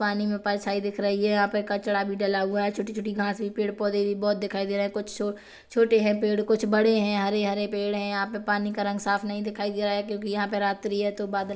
पानी में परछाईं दिख रही है यहाँ पे कचड़ा भी डाला हुआ है छोटी-छोटी घाँस भी पेड़-पौधे भी बहोत दिखाई दे रहे है कुछ छो छोटे है पेड़ कुछ बड़े है हरे-हरे पेड़ है यहाँ पर पानी का रंग साफ़ नहीं दिखाई दे रहा है क्यों की यहाँ पे रात्रि है तो बादल--